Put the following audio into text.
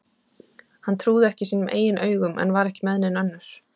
Hann trúði ekki sínum eigin augum en var ekki með nein önnur.